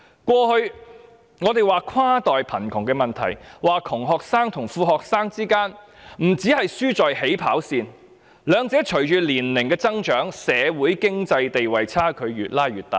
我們過去談跨代貧窮問題時，說窮學生與富學生之間，不單前者輸在起跑線，兩者隨着年齡增長，在社會、經濟和地位的差距亦會越拉越大。